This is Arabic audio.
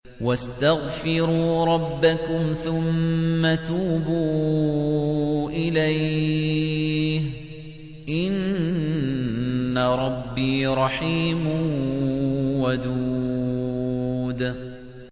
وَاسْتَغْفِرُوا رَبَّكُمْ ثُمَّ تُوبُوا إِلَيْهِ ۚ إِنَّ رَبِّي رَحِيمٌ وَدُودٌ